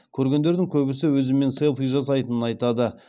көргендердің көбісі өзіммен селфи жасайтынын айтады